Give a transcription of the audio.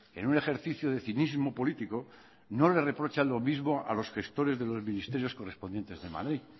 en un ejercicio de cinismo político no le reprocha lo mismo a los gestores de los ministerios correspondientes de madrid